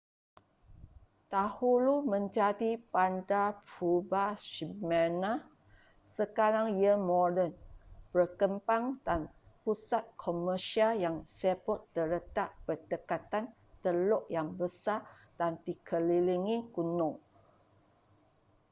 dahulu menjadi bandar purba smyrna sekarang ia moden berkembang dan pusat komersial yang sibuk terletak berdekatan teluk yang besar dan dikelilingi gunung